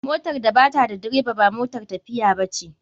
Motar da bata da direba ba motar tafiiya bace.